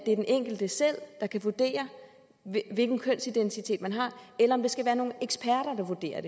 er den enkelte selv der kan vurdere hvilken kønsidentitet man har eller om det skal være nogle eksperter der vurderer